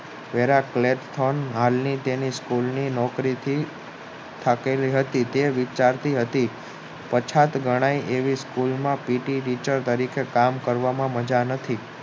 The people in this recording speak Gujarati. વેરા plate form હાલની તેની school ની નોકરી થી થાકેલી હતી તે વિચારતી હતી પછાત ગણાય school માં પીટી Teacher પાસે કામ કરવામાં મજા નથી